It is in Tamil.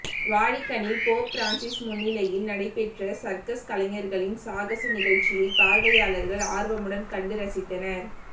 வாடிகனில் போப் பிரான்சிஸ் முன்னிலையில் நடைபெற்ற சர்க்கஸ் கலைஞர்களின் சாகச நிகழ்ச்சியை பார்வையாளர்கள் ஆர்வமுடன் கண்டு ரசித்தனர்